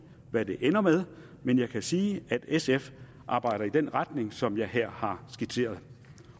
hvad det ender med men jeg kan sige at sf arbejder i den retning som jeg her har skitseret